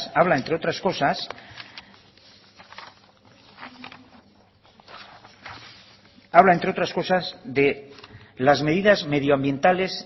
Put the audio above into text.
habla entre otras cosas habla entre otras cosas de las medidas medioambientales